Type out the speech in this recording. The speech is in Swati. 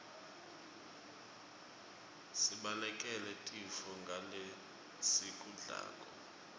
sibalekele tifo ngalesikudlako